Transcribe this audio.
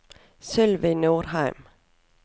Sylvi Nordheim